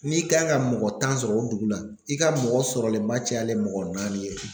N'i kan ka mɔgɔ tan sɔrɔ o dugu la i ka mɔgɔ sɔrɔlenba cayalen mɔgɔ naani ye.